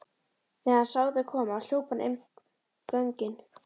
Þegar hann sá þau koma hljóp hann inn göngin.